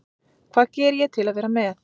Hvað geri ég til að vera með?